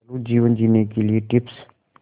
दयालु जीवन जीने के लिए टिप्स